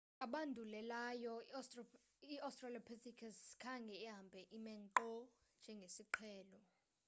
abandulelayo iaustralopithecus khange ihambe ime nkqo njengesiqhelo